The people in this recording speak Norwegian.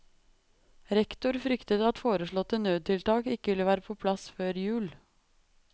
Rektor frykter at foreslåtte nødtiltak ikke vil være på plass før jul.